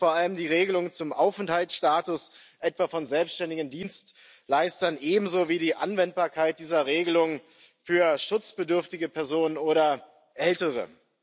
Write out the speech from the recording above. Dies betrifft vor allem die Regelung zum Aufenthaltsstatus, etwa von selbstständigen Dienstleistern, ebenso wie die Anwendbarkeit dieser Regelung für schutzbedürftige Personen oder Ältere.